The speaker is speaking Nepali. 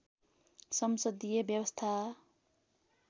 संसदीय व्यवस्था